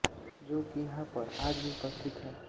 जो कि यहाँ पर आज भी उपस्थित है